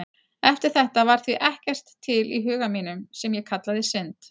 Eftir þetta var því ekkert til í huga mínum sem ég kallaði synd.